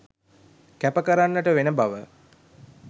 කැප කරන්නට වෙන බව